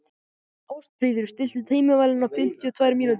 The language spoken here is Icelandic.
Ástfríður, stilltu tímamælinn á fimmtíu og tvær mínútur.